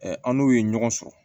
an n'u ye ɲɔgɔn sɔrɔ